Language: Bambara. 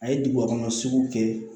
A ye duguba kɔnɔ sugu kɛ